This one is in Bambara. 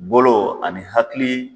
Bolo ani hakili